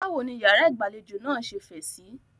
Báwo ní ìyàrá ìgbàlejò náà ṣe fẹ̀ síí?